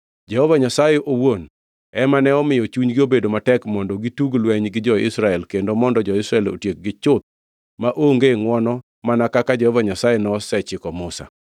Jehova Nyasaye owuon ema ne omiyo chunygi obedo matek mondo gitug lweny gi jo-Israel kendo mondo jo-Israel otiekgi chuth maonge ngʼwono mana kaka Jehova Nyasaye nosechiko Musa.